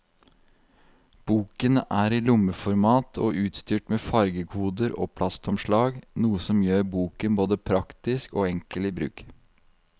Boken er i lommeformat og utstyrt med fargekoder og plastomslag, noe som gjør boken både praktisk og enkel i bruk.